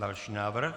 Další návrh?